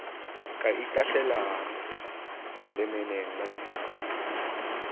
ka itahlelang lemeneng la ditau